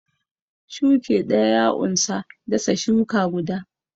Shuki ɗaya ya unsa dasa shuka guda.